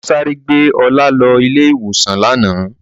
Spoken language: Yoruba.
Wọ́n sáré gbé Ọlá lọ ilé-ìwòsàn lánàá.